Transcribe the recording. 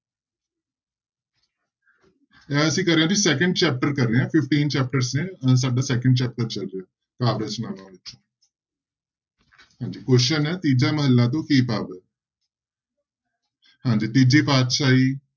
ਇਹ ਅਸੀਂ ਕਰ ਰਹੇ ਹਾਂ ਜੀ second chapter ਕਰ ਰਹੇ ਹਾਂ fifteen chapters ਨੇ, ਸਾਡਾ second chapter ਚੱਲ ਰਿਹਾ ਕਾਵਿ ਰਚਨਾਵਾਂ ਹਾਂਜੀ question ਹੈ ਤੀਜਾ ਮਹਲਾ ਤੋਂ ਕੀ ਭਾਵ ਹੈ ਹਾਂਜੀ ਤੀਜੀ ਪਾਤਿਸ਼ਾਹੀ